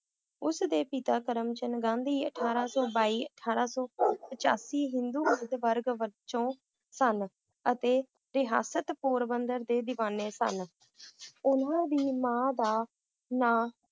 ਉਸ ਦੇ ਪਿਤਾ ਕਰਮਚੰਦ ਗਾਂਧੀ ਅਠਾਰਹ ਸੌ ਬਾਈ, ਅਠਾਰ ਸੌ ਪਚਾਸੀ ਹਿੰਦੂ ਵਰਗ ਵਜੋਂ ਸਨ ਅਤੇ ਇਤਿਹਾਸਿਕ ਪੋਰਬੰਦਰ ਦੇ ਦੀਵਾਨੇ ਸਨ ਉਹਨਾਂ ਦੀ ਮਾਂ ਦਾ ਨਾਂ